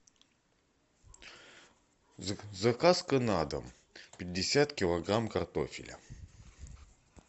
заказ на дом пятьдесят килограмм картофеля